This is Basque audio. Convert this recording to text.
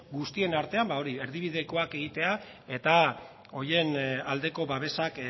guztien artean ba hori erdibidekoak egitea eta horien aldeko babesak